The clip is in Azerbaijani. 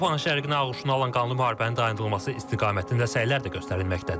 Avropanın şərqini ağuşuna alan qanlı müharibənin dayandırılması istiqamətində səylər də göstərilməkdədir.